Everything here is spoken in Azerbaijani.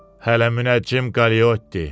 Hələ Münəccim Qaliyotti!